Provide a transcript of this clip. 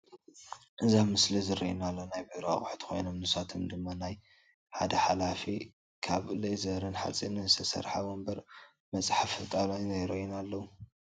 እዚ ኣብ ምስሊ ዝረአየና ዘሎ ናይ ቢሮ ኣቁሑት ኮይኖም ንሳቶም ድማ ናይ ሓደ ሓለፊ ካብ ሌዘርን ሓፂንን ዝተሰርሓ ወንበርን መፅሓፊ ጣውላን ይረኦይና ኣለዉ።